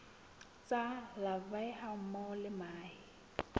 tsa larvae hammoho le mahe